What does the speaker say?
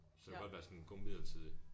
Så det kan godt være sådan en god midlertidig